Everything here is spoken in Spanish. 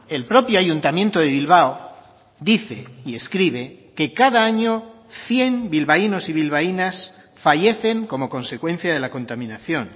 el propio ayuntamiento de bilbao dice y escribe que cada año cien bilbaínos y bilbaínas fallecen como consecuencia de la contaminación